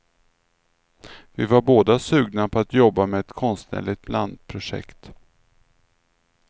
Vi var båda sugna på att jobba med ett konstnärligt blandprojekt.